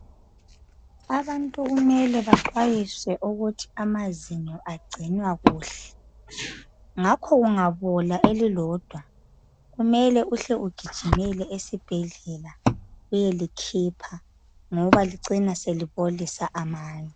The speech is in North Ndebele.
Abantu kumele baxwayiswe ukuthi amazinyo agcinwa kuhle Ngakho kungabola elilodwa kumele uhle ugijimele esibhedlela beyelikhipha ngoba licina selibolisa amanye